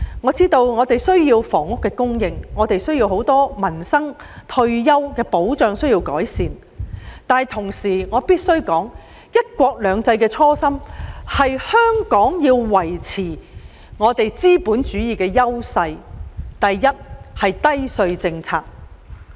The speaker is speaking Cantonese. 我知道大家需要房屋供應，也有很多民生和退休保障問題需要改善，但我同時必須指出，"一國兩制"的初心是香港必須維持資本主義的優勢，第一是維持低稅政策。